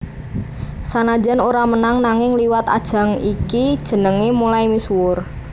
Sanajan ora menang nanging liwat ajang iki jenengé mulai misuwur